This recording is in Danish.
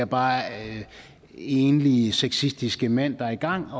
bare er enlige sexistiske mænd der er i gang